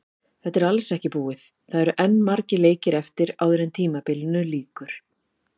Þetta er alls ekki búið, það eru enn margir leikir eftir áður en tímabilinu lýkur.